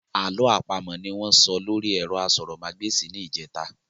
Àlọ́ àpamọ̀ ní wọ́n sọ lóri ẹ̀rọ asọ̀rọ̀mágbèsì ní ìjẹ́ta.